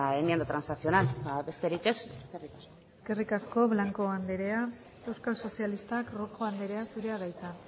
enmienda transaccional besterik ez eskerrik asko eskerrik asko blanco anderea euskal sozialistak rojo anderea zurea da hitza